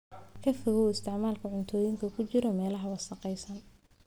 Ka fogow isticmaalka cuntooyinka ku jiray meelaha wasakhaysan.